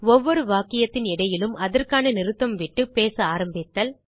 ஒவ்வொரு வாக்கியத்தின் இடையிலும் அதற்கான நிறுத்தம் விட்டுப் பேச ஆரம்பித்தல்